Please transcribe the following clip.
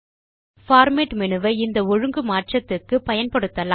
format menu வை இந்த ஒழுங்கு மாற்றத்திற்க்கு பயன்படுத்தலாம்